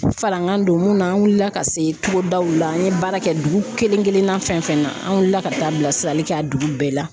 Falangan don mun na an wulila ka se togodaw la, an ye baara kɛ dugu kelen kelenna fɛn fɛn na an wulila ka taa bilasirali kɛ a dugu bɛɛ la.